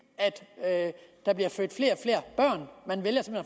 at der bliver født flere